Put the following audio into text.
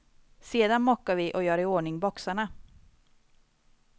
Sedan mockar vi, och gör iordning boxarna.